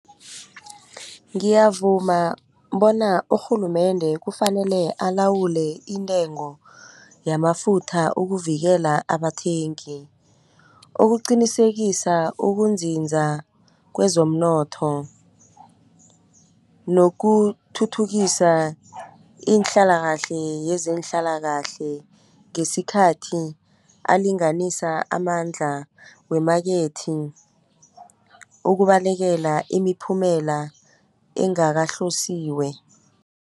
Ngiyavuma bona urhulumende kufanele alawule intengo yamafutha ukuvikela abathengi. Ukuqinisekisa ukunzinza kwezomnotho nokuthuthukisa iinhlalakahle yezenhlalakahle ngesikhathi alinganisa amandla wemakethi. Ukubalekela imiphumela engakahlosiwe.